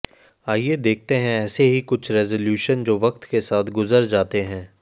आइये देखते है ऐसे ही कुछ रेज़लूशन को वक्त के साथ साथ गुज़र जाते हैं